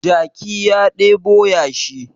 Jaki ya ɗebo yashi